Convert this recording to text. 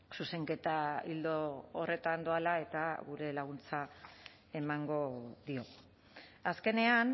zuzenketa ildo horretan doala eta gure laguntza emango dio azkenean